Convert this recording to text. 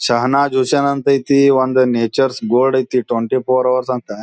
''ಸಹನಾ ಜೋಸೆನ್ ಅಂತ ಐತಿ ಒಂದ್ ನಾಟುರ್ಸ್ ಬೋರ್ಡ್ ಐತಿ ಟ್ವೆಂಟಿ ಫೋರ್ ಹೌರ್ಸ್ ಅಂತ.''